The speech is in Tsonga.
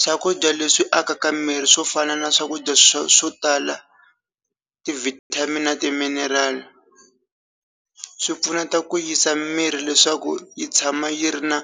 swakudya leswi akaka miri swo fana na swakudya swo swo tala ti vitamin na timinerali swipfuneta ku yisa miri leswaku yi tshama yi ri na